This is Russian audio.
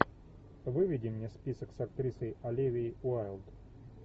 выведи мне список с актрисой оливией уайлд